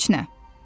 Heç nə.